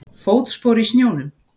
Fótspor í snjónum.